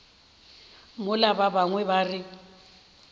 mola ba bangwe ba re